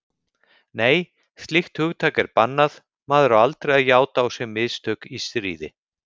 Nei, slíkt hugtak er bannað, maður á aldrei að játa á sig mistök í stríði.